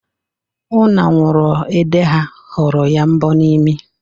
Ụnanwụrụede ha họrọ ya mbọ n' imi.